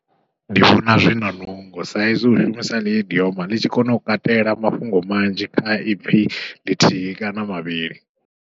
Ndi vhona zwina nungo sa izwi u shumisa ha ḽiidioma ḽi tshi kona u katela mafhungo manzhi kha ipfhi lithihi kana mavhili.